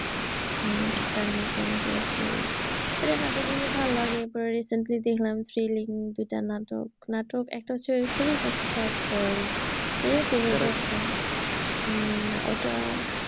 হম আরফান নিশো, মুশারফ করিম। এদের নাটকগুলো ভালো লাগে এরপরে recently দেখলাম thrilling দুইটা নাটক নাটক একটা হচ্ছে web series একটা হচ্ছে short film উম না ওইটা